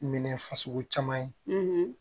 Minɛ fasugu caman ye